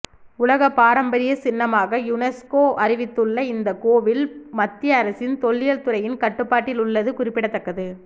உலக பாரம்பரிய சின்னமாக யுனெஸ்கோ அறிவித்துள்ள இந்த கோவில் மத்திய அரசின் தொல்லியல் துறையின் கட்டுப்பாட்டில் உள்ளது குறிப்பிடத்தக்கது